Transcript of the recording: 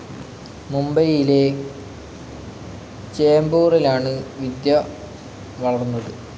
മുംബൈയിലെ ചേംബൂറിലാണ് വിദ്യ വളർന്നത്.